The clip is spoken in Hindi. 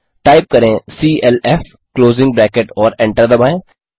टाइप करें सीएलएफ क्लोज़िंग ब्रैकेट और एंटर दबाएँ